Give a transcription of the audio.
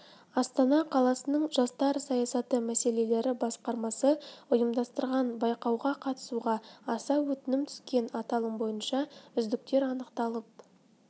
астана қаласының жастар саясаты мәселелері басқармасы ұйымдастырған байқауға қатысуға аса өтінім түскен аталым бойынша үздіктер анықталып